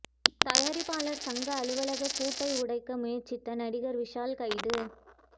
தயாரிப்பாளர் சங்க அலுவலக பூட்டை உடைக்க முயற்சித்த நடிகர் விஷால் கைது